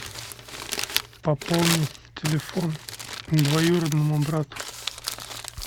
пополни телефон двоюродному брату